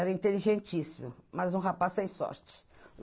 Era inteligentíssimo, mas um rapaz sem sorte.